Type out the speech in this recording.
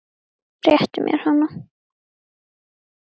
Réttu mér hana